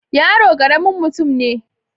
yaro karamin mutum ne